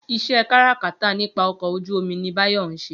Iṣẹ́ káràkátà nípa ọkọ̀ ojú-omi ni Báyọ̀ ń ṣe